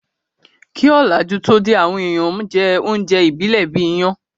Kí òlàjú tó dé, àwọn èèyàn n jẹ oúnjẹ ìbílẹ̀ bíi iyán